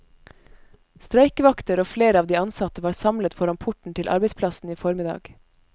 Streikevakter og flere av de ansatte var samlet foran porten til arbeidsplassen i formiddag.